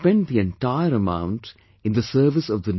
Similarly I was observing numerous photographs on social media